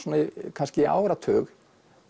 kannski í áratug